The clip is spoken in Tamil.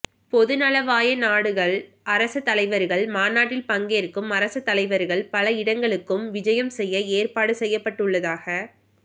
பொதுநலவாய நாடுகள் அரச தலைவர்கள் மாநாட்டில் பங்கேற்கும் அரச தலைவர்கள் பல இடங்களுக்கும் விஜயம் செய்ய ஏற்பாடு செய்யப்பட்டுள்ளதாக